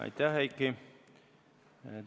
Aitäh, Heiki!